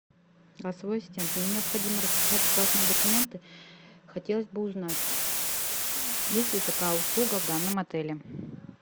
голосовой ассистент мне необходимо распечатать важные документы хотелось бы узнать есть ли такая услуга в данном отеле